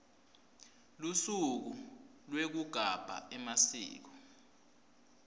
lusuku lwekugabha emasiko